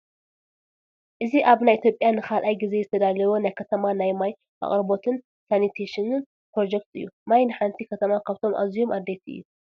እዚ ኣብ ናይ ኢትዮጵያ ንኻልኣይ ጊዜ ዝተዳለወ ናይ ከተማ ናይ ማይ ኣቕርቦትን ሳኒቴሽንን ኘሮጀክት እዩ፡፡ ማይ ንሓንቲ ከተማ ካብቶም ኣዝዮም ኣድለይቲ እዩ፡፡